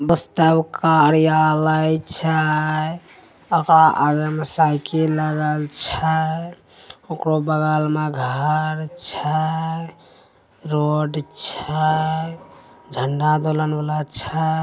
आलै छै ओकरा आवे में साइकिल लगै छै ओकरो बगल में घर छै रोड छै झंडा तोलन वाला छै |